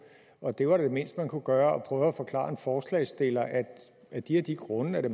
og det var det mindste man kunne gøre prøve at forklare en forslagsstiller at af de og de grunde er det